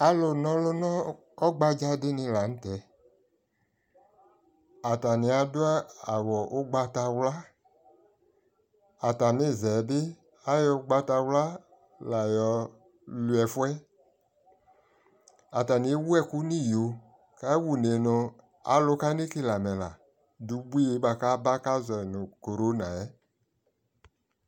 alʋ nɔlʋ nʋ ɔgbadza dini lantɛ, atani adʋ awʋ ɔgbatawla, atani zɛ bi ayɔ ɔgbatawla la yɔ lʋɛ ɛƒʋɛ, atani ɛwʋ ɛkʋ nʋ iyɔɔ dʋ kʋ awa ʋnɛ nʋ alɛ nʋ kanɛ kɛlɛ alɛ la dʋ ʋbʋi kʋ aba kʋ azɔnʋ coronaɛ